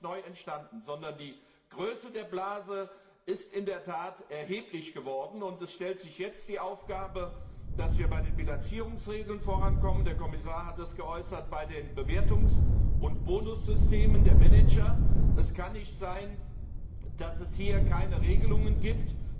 Diese sind ja nicht neu entstanden, sondern die Größe der Blase ist in der Tat erheblich geworden, und es stellt sich jetzt die Aufgabe, dass wir bei den Bilanzierungsregeln vorankommen der Kommissar hat es bei den Bewertungs und Bonussystemen der Manager erwähnt. Es kann nicht sein, dass es hier keine Regelungen gibt.